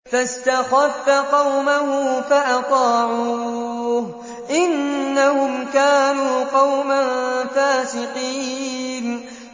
فَاسْتَخَفَّ قَوْمَهُ فَأَطَاعُوهُ ۚ إِنَّهُمْ كَانُوا قَوْمًا فَاسِقِينَ